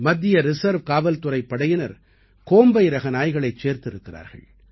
மத்திய ரிசர்வ் காவல்துறைப் படையினர் கோம்பை ரக நாய்களை சேர்த்திருக்கிறார்கள்